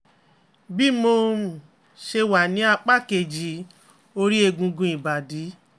bí mo um ṣe wà ní apá kejì ori egungun ibadi